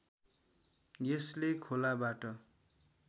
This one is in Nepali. यसले खोलाबाट